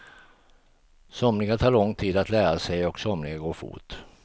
Somliga tar lång tid att lära sig och somliga går fort.